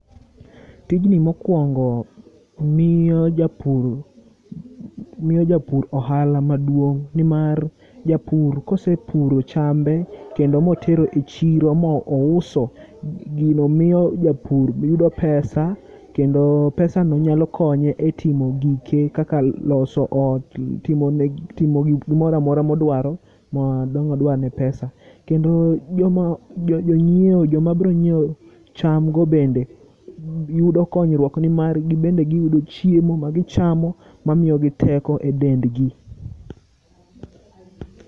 Tijni mokuongo miyo japur miyo japur ohala maduong' nimar, japur kosepuro chambe ma otero e chiro ma ma ouso, gino miyo japur yudo pesa kendo pesano nyalo konye e timo gike kaka loso lo timo ne timo gik moro amora modwaro ma dang' odwane pesa. Kendo jomo jo nyieo joma bro nyieo cham go bende bi yudo konyruok nimar gibende giyudo chiemo ma gichamo ma miyo gi teko e dendgi.